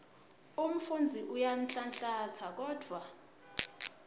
umfundzi uyanhlanhlatsa kodvwa